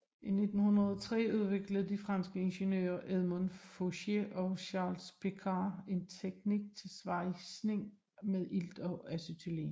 I 1903 udviklede de franske ingeniører Edmond Fouché og Charles Picard en teknik til svejsning med ilt og acetylen